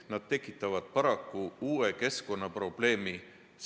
Nad tekitavad paraku uue keskkonnaprobleemi.